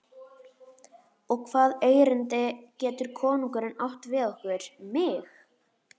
Og hvaða erindi getur konungurinn átt við okkur, mig?